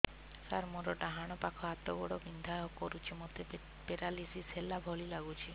ସାର ମୋର ଡାହାଣ ପାଖ ହାତ ଗୋଡ଼ ବିନ୍ଧା କରୁଛି ମୋତେ ପେରାଲିଶିଶ ହେଲା ଭଳି ଲାଗୁଛି